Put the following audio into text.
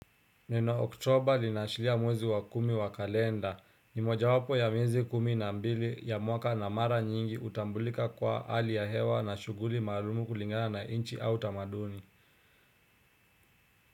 Neno oktoba linaashiria mwezi wa kumi wa kalenda ni mojawapo ya miezi kumi na mbili ya mwaka na mara nyingi utambulika kwa hali ya hewa na shughuli maalumu kulingana na nchi au tamaduni.